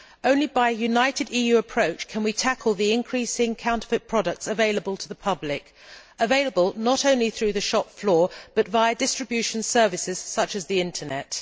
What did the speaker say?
Only by a united EU approach can we tackle the increasing counterfeit products available to the public available not only through the shop floor, but via distribution services such as the Internet.